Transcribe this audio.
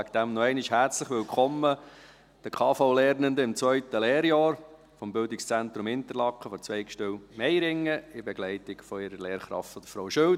Daher noch einmal ein herzliches Willkommen den KV-Lernenden im zweiten Lehrjahr des Bildungszentrums Interlaken von der Zweigstelle Meiringen in Begleitung ihrer Lehrkraft Frau Schild.